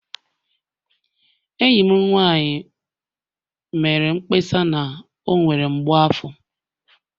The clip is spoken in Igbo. Enyi m nwanyị mere mkpesa na ọ nwere mgbu afọ